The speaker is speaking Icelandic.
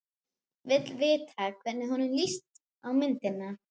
Vill vita hvernig honum lítist á myndina.